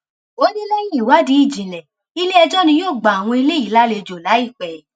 ó ní lẹyìn ìwádìí ìjìnlẹ iléẹjọ ni yóò gba àwọn eléyìí lálejò láìpẹ